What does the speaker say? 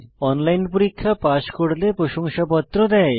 online পরীক্ষা pass করলে প্রশংসাপত্র দেয়